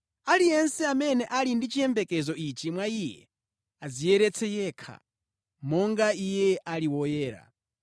Aliyense amene ali ndi chiyembekezo ichi mwa Iye adziyeretse yekha, monga Iye ali woyera.